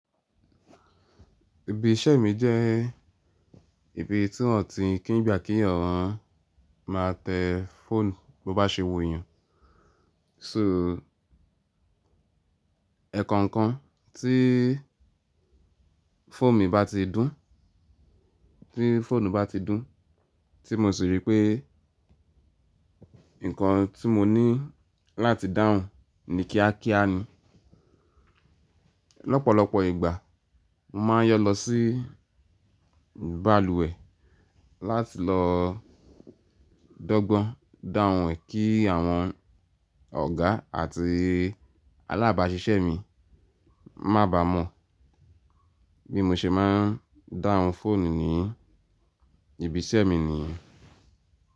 Ibi iṣẹ́ mi jẹ́ ibi tí wọ́n ti kí n gbà kí eyàn máa tẹ fóònù bó bá ṣe wu eyàn. So ẹ̀ẹ̀kan kan tí fóònù mi bá ti dún, tí fóònù bá ti dún, tí mo sì rí pé nǹkan tí mo ní láti dáhùn ni kíákíá ni. Ọ̀pọ̀lọpọ̀ ìgbà mo máa ń yọ lọ sí bàlùwẹ̀ láti lọ dọ́gbọ́n dáhùn e kí àwọn ọ̀gá àti alábàásisẹ́ mi má baa mọ̀ bí mo ṣe máa ń dáhùn fóònù ní ibi iṣẹ́ mi niyen.